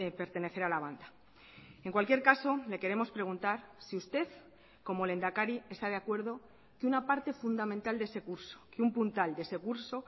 pertenecer a la banda en cualquier caso le queremos preguntar si usted como lehendakari está de acuerdo que una parte fundamental de ese curso que un puntal de ese curso